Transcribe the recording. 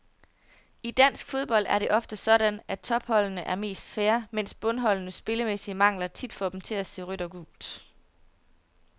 I dansk fodbold er det ofte sådan, at topholdene er mest fair, mens bundholdenes spillemæssige mangler tit får dem til at se rødt og gult.